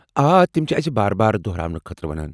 آ، تم چھ اسہ بار بار دٗہراونہٕ خٲطرٕ ونان۔